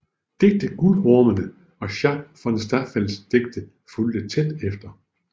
Digtet Guldhornene og Schack von Staffeldts Digte fulgte tæt efter